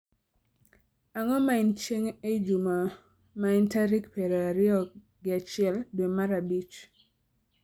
Ang'o ma en chieng' ei juma ma en tarik piero ariyo gi achiel dwe mar abich